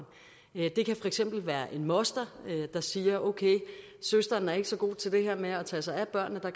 eksempel være en moster der siger okay min søster er ikke så god til det her med at tage sig af børnene og